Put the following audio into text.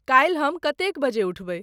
काल्हिक हम कतेक बजे उठाबाई